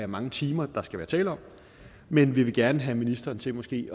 mange timer der skal være tale om men vi vil gerne have ministeren til måske